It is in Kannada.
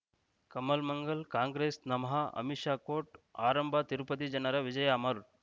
ಕಮಲ್ ಮಂಗಳ್ ಕಾಂಗ್ರೆಸ್ ನಮಃ ಅಮಿಷಾ ಕೋರ್ಟ್ ಆರಂಭ ತಿರುಪತಿ ಜನರ ವಿಜಯ ಅಮರ್